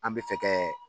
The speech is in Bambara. An bɛ fɛ kɛ